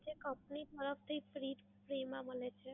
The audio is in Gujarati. જે કંપની દ્વારા free free માં મલે છે.